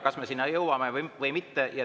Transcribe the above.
Kas me sinna jõuame või mitte?